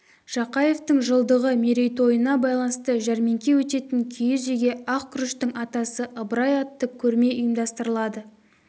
жақаевтың жылдығы мерейтойына байланысты жәрмеңке өтетін киіз үйге ақ күріштің атасы ыбырай атты көрме ұйымдастырылады